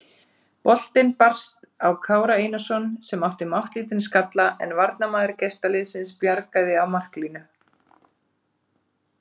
Boltinn barst á Kára Einarsson sem átti máttlítinn skalla en varnarmaður gestaliðsins bjargaði á marklínu.